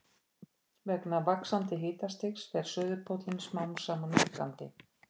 þetta eru svokallaðir fargestir en teljast ekki íslensk dýr